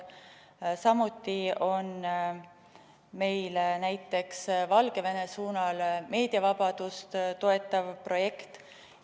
Samuti on meil näiteks Valgevenes meediavabadust toetav projekt.